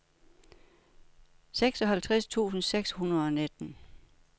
seksoghalvtreds tusind seks hundrede og nitten